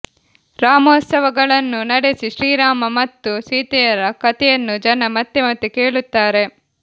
ರಾಮೋತ್ಸವಗಳನ್ನು ನಡೆಸಿ ಶ್ರೀರಾಮ ಮತ್ತು ಸೀತೆಯರ ಕಥೆಯನ್ನು ಜನ ಮತ್ತೆ ಮತ್ತೆ ಕೇಳುತ್ತಾರೆ